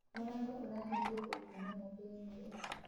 Mũrango ũrahĩngĩtwo kũũma athĩĩnĩ